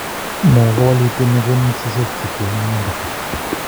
No kowalutie ne konech seset kityo ing imanda.